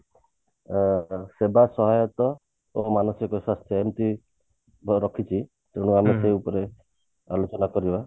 ଅ ସେବା ସହାୟତା ଏବଂ ମାନସିକ ସ୍ୱାସ୍ଥ୍ୟ ଏମତି ରଖିଛି ଆମେ ସେଇ ଉପରେ ଆଲୋଚନା କରିବା